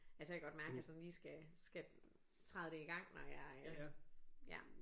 altså jeg kan godt mærke jeg sådan lige skal skal træde det i gang når jeg ja